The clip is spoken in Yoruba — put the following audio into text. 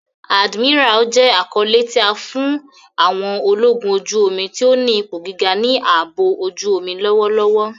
Admiral jẹ akọle ti a fi fun àwọn ologun oju-omi ti o ni ipo giga ni aabo ojuomi lọwọlọwọ.